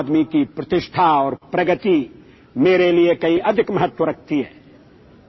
આમ આદમી કી પ્રતિષ્ઠા ઔર પ્રગતિ મેરે લિએ કહીં અધિક મહત્ત્વ રખતી હૈ